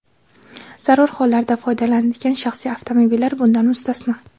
zarur hollarda foydalaniladigan shaxsiy avtomobillar bundan mustasno.